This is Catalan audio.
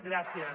gràcies